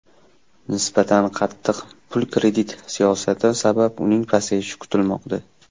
Nisbatan qattiq pul-kredit siyosati sabab uning pasayishi kutilmoqda.